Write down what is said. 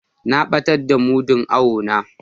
Na batar da mudun awo na.